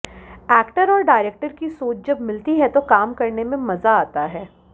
actor और director की सोच जब मिलती है तो काम करने में मजा आता है